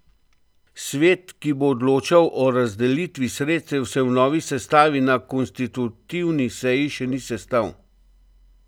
Svet, ki bo odločal o razdelitvi sredstev, se v novi sestavi na konstitutivni seji še ni sestal.